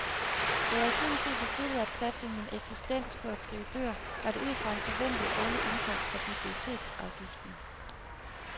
Da jeg i sin tid besluttede at satse min eksistens på at skrive bøger, var det ud fra en forventet årlig indkomst fra biblioteksafgiften.